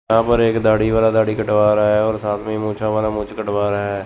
यहां पे एक दाढ़ी वाला दाढ़ी कटवा रहा है और साथ में मुछा वाला मूंछ कटवा रहा है।